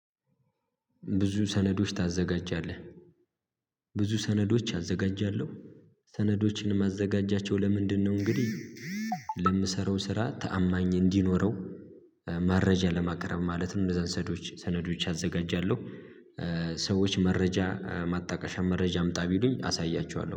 "ብዙ ሰነዶች ታዘጋጃለህ?" ብዙ ሰነዶች አዘጋጃለሁ። ሰነዶችን ማዘጋጃቸው ለምንድነው እንግዲህ ለምሰራው ስራ ታአማኝ እንዲኖረው መረጃ ለማቅረብ ማለትም እንደዛ ሰነዶች ሰነዶች አዘጋጃለሁ። ሰዎች መረጃ ማጣቀሻ መረጃ አምጣ ቢሉኝ አሳያቸዋለሁ።